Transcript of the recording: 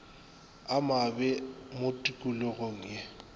a mabe mo tikologong ye